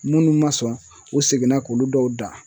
Munnu ma sɔn u seginna k'olu dɔw dan.